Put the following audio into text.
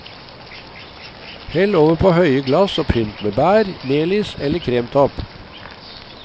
Hell over på høye glass og pynt med bær, melis eller kremtopp.